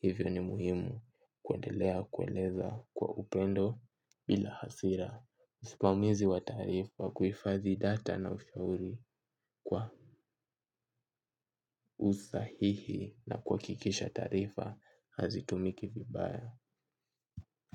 hivyo ni muhimu kuendelea kueleza kwa upendo bila hasira. Usimamizi wa taarifa kuhifadhi data na ushauri kwa usahihi na kuhakikisha taarifa hazitumiki vibaya.